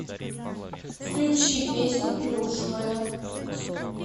включи песню плюшевая